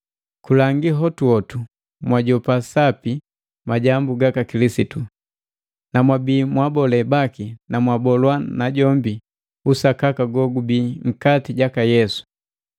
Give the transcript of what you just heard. Kulangi hotuhotu mwajoa sapi majambu gaka Kilisitu, na mwabii mwa abole baki na mwabolwa najombi usakaka gogubii nkati jaka Yesu.